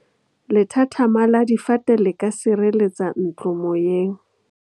Lethathama la difate le ka sireletsa ntlo moyeng.